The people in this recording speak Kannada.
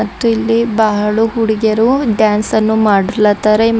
ಮತ್ತು ಇಲ್ಲಿ ಬಹಳು ಹುಡುಗೀಯರು ಡ್ಯಾನ್ಸ್ ನ್ನು ಮಾಡ್ಲಾತಾರ ಮತ್--